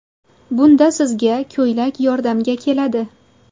Bunda sizga ko‘ylak yordamga keladi.